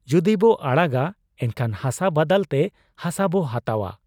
ᱡᱩᱫᱤᱵᱚ ᱟᱲᱟᱜᱟ ᱮᱱᱠᱷᱟᱱ ᱦᱟᱥᱟ ᱵᱟᱫᱟᱞᱛᱮ ᱦᱟᱥᱟᱵᱚ ᱦᱟᱛᱟᱣ ᱟ ᱾